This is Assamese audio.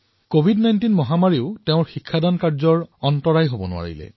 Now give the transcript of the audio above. কভিড১৯ মহামাৰীতো তেওঁৰ অধ্যাপনাৰ কামত বাধা আহি পৰা নাছিল